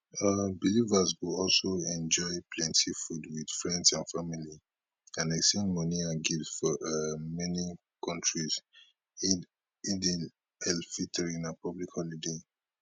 um believers go also enjoy plenty food wit friends and family and exchange money and and gifts for um many kontris eid alfitr na public holiday